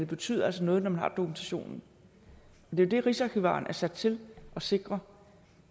betyder noget når man har dokumentationen det er det rigsarkivaren er sat til at sikre